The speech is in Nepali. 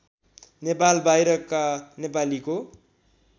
नेपाल बाहिरका नेपालीको